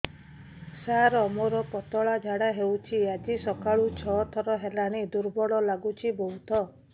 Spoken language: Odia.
ସାର ମୋର ପତଳା ଝାଡା ହେଉଛି ଆଜି ସକାଳୁ ଛଅ ଥର ହେଲାଣି ଦୁର୍ବଳ ଲାଗୁଚି ବହୁତ